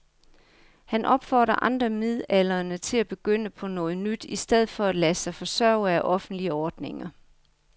Han opfordrer andre midaldrende til at begynde på noget nyt i stedet for at lade sig forsørge af offentlige ordninger.